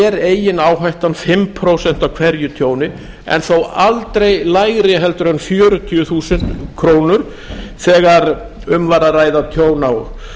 er eigin áhætta um fimm prósent af hverju tjóni en þó aldrei lægri en fjörutíu þúsund krónur þegar um var að ræða tjón á